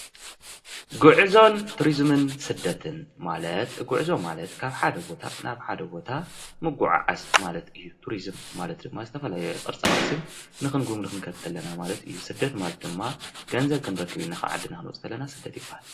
ጉዕዞን ቱሪዙም ስደትን :-ማለት ጉዕዞ ማለት ካብ ሓደ ቦታ ናብ ሓደ ቦታ ምጉዕዓዝ ማለት እዩ፡፡ ቱሪዝም ማለት ድማ ዝተፈላለየ ቅርሳቅርስን ንክንጉብኒ ክንከድ ከለና ማለት እዩ፡፡ ስደት ማለት ድማ ገንዘብ ክንረክብ ኢልና ካብ ዓድና ክንወፅእ ኸለና ስደት ይባሃል፡፡